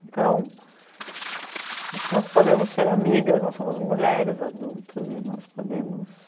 Então, acho que nós podemos ser amigas, nós somos mulheres adultas, e nós podemos...